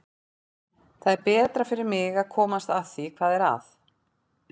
Það er betra fyrir mig að komast að því hvað er að.